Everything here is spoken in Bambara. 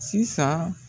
Sisan